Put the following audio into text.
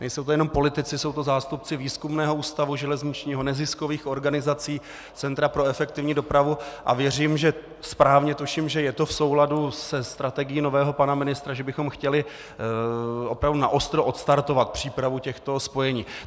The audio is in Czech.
Nejsou to jenom politici, jsou to zástupci Výzkumného ústavu železničního, neziskových organizací, Centra pro efektivní dopravu a věřím, že správně tuším, že je to v souladu se strategií nového pana ministra, že bychom chtěli opravdu naostro odstartovat přípravu těchto spojení.